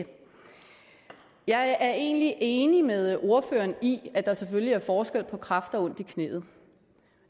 jeg er egentlig enig med ordføreren i at der selvfølgelig er forskel på kræft og ondt i knæet